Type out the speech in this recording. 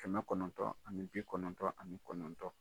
Kɛmɛ kɔnɔntɔn ani bi kɔnɔntɔ ani kɔnɔntɔn.